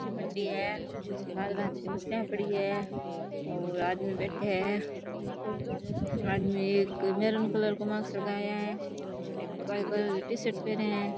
मच्छी मंडी है भांत भांत की मछलिया पडी हैं और आदमी बैठे है आदमी एक महरून कलर को मास्क लगाया है एक काली कलर की टी-शर्ट पहने है।